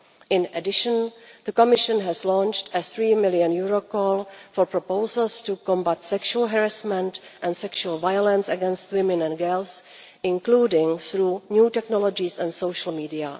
In addition, the Commission has launched a EUR 3 million call for proposals to combat sexual harassment and sexual violence against women and girls, including through new technologies and social media.